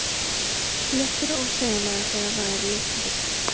Léttir ósegjanlega þegar það er leitt í burtu.